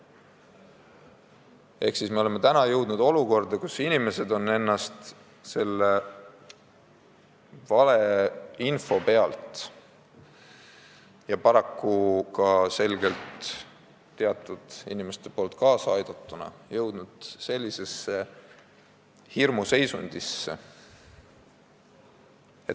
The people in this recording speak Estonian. Ehk me oleme jõudnud olukorda, kus inimesed on vale info najal ja paraku selgelt ka teatud inimeste kaasabil hirmuseisundis.